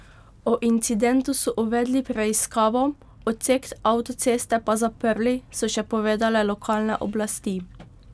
O incidentu so uvedli preiskavo, odsek avtoceste pa zaprli, so še povedale lokalne oblasti.